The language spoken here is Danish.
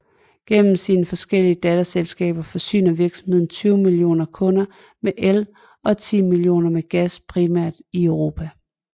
Gennem sine forskellige datterselskaber forsyner virksomheden 20 millioner kunder med el og 10 millioner med gas primært i Europa